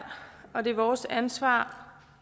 og det er vores ansvar